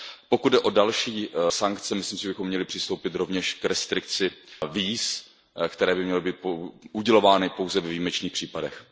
Pokud jde o další sankce, myslím si, že bychom měli přistoupit rovněž k restrikci víz, která by měla být udělována pouze ve výjimečných případech.